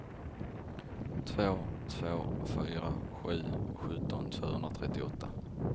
två två fyra sju sjutton tvåhundratrettioåtta